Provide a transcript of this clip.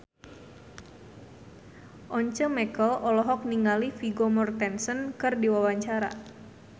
Once Mekel olohok ningali Vigo Mortensen keur diwawancara